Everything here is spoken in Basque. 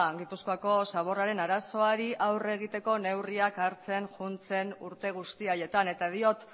gipuzkoako zaborraren arazoari aurre egiteko neurriak hartzen joan zen urte guzti haietan eta diot